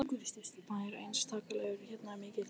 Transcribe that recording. Það er einstaklingsbundið hversu mikil þessi framleiðsla er.